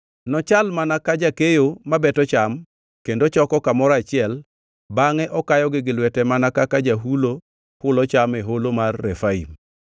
Nochal mana ka jakeyo mabeto cham choko kamoro achiel bangʼe okayogi gi lwete mana kaka jahulo, hulo cham e Holo mar Refaim.